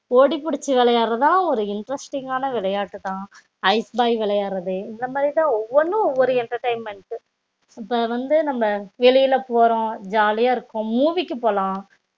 ஓடி புடிச்சி விளையாடுரதுலாம் ஒரு interesting காண விளையாட்டுதா ஐஸ் பாய் விளையாடுரது ஒவ்வொன்னும் ஒவ்வொரு entertainment இப்போ வந்து நம்ப வெளியில போறோம் ஜாலி இருக்கும் movie போலாம்